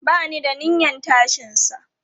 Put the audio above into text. Ba ni da niyyan tashinsa.